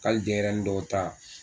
Hali denɲɛrɛnin dɔw ta